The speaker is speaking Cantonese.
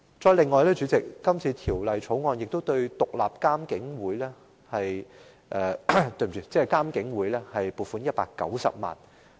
此外，主席，《條例草案》亦就獨立監察警方處理投訴委員會申請撥款190萬元。